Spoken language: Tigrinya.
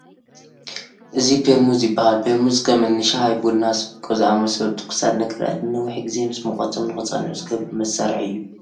እዚ ፔርሙዝ ይበሃል፡፡ ፔርሙዝ ከም እኒ ሻሂ፣ ቡና፣ ስብቆ ዝኣምሰሉ ትኩሳት ነገራት ንነዊሕ ግዜ ምስ ሙቐቶም ንክፀንሑ ዝገብር መሳርሒ እዩ፡፡